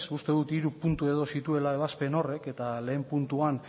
uste dut hiru puntu edo zituela ebazpen horrek eta lehen puntuan